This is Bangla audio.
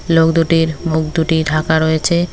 লোক দুটির মুখ দুটি ঢাকা রয়েছে।